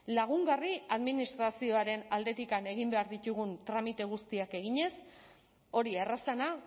lagungarri administrazioaren aldetik egin behar ditugun tramite guztiak eginez hori errazena